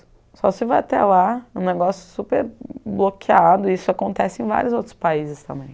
Só se vai até lá, um negócio super bloqueado, e isso acontece em vários outros países também.